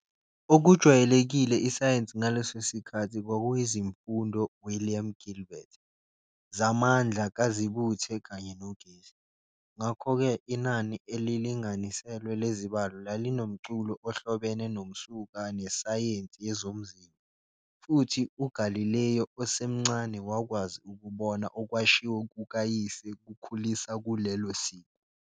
Okujwayelekile isayensi ngaleso sikhathi kwakuyizimfundo William Gilbert, zamandla kazibuthe kanye nogesi. Ngakho-ke, inani elilinganiselwe lezibalo lalinomculo ohlobene nomsuka nesayensi yezomzimba, futhi uGalileo osemncane wakwazi ukubona okwashiwo kukayise kukhulisa kulelo siko.